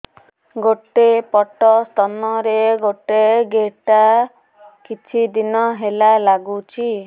ଗୋଟେ ପଟ ସ୍ତନ ରେ ଗୋଟେ ଗେଟା କିଛି ଦିନ ହେଲା ଲାଗୁଛି